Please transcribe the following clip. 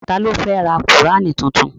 Ta ló fẹ́ ra qùránì tuntun?